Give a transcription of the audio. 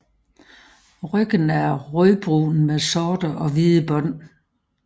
Ryggen er rødbrun med sorte og hvide bånd